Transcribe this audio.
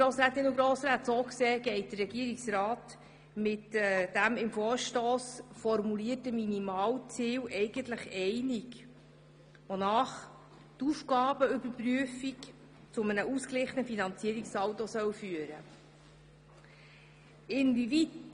So gesehen geht der Regierungsrat mit dem im Vorstoss formulierten Minimalziel eigentlich einig, wonach die Aufgabenüberprüfung zu einem ausgeglichenen Finanzierungssaldo führen soll.